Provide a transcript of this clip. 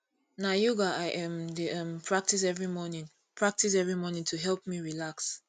na yoga i um dey um practice every morning practice every morning to help me relax